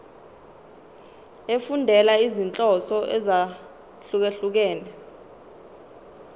efundela izinhloso ezahlukehlukene